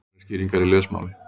Nánari skýringar í lesmáli.